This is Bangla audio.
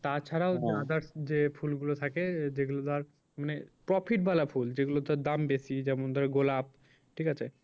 তা ছাড়াও যে ফুল গুলো থাকে যেগুলো ধর মানে profit বালা ফুল যেগুলো ধর দাম বেশি যেমন ধর গোলাপ ঠিক আছে।